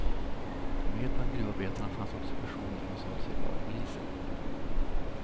Med bland gruvarbetarna fanns också personer som sade sig vara poliser.